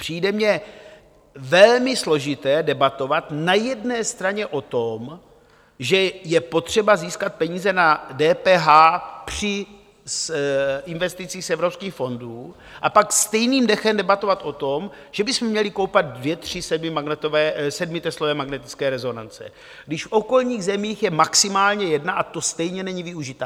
Přijde mi velmi složité debatovat na jedné straně o tom, že je potřeba získat peníze na DPH při investici z evropských fondů, a pak stejným dechem debatovat o tom, že bychom měli koupit dvě tři sedmiteslové magnetické rezonance, když v okolních zemích je maximálně jedna a ta stejně není využita.